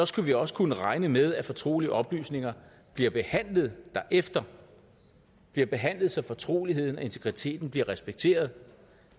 skal vi også kunne regne med at fortrolige oplysninger bliver behandlet derefter bliver behandlet så fortroligheden og integriteten bliver respekteret